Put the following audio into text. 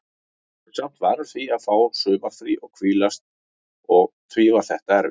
Maður er samt vanur því að fá sumarfrí og hvílast og því var þetta erfitt.